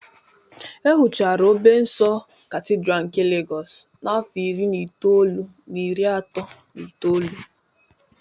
E wuchara a Obe nsọ Katidral nke Legọs n'afọ iri na itoolu na iri atọ na itoolu